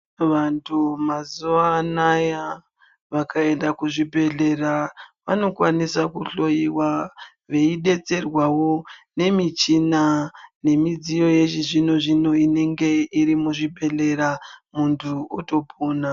Vantu mazuwanaya vakaenda kuzvibhedhlera vanokwanisa kuhloyiwa veidetserwawo nemichina nemidziyo yechizvino zvino inenge iri muzvibhedhleya muntu otopona.